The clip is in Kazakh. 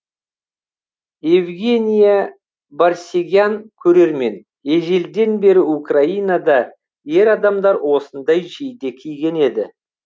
евгения барсегян көрермен ежелден бері украинада ер адамдар осындай жейде киген еді